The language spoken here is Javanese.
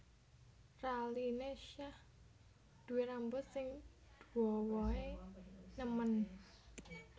Raline Shah duwe rambut sing duowo e nemen